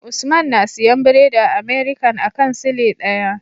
Usman na siyan biredi a American akan sile daya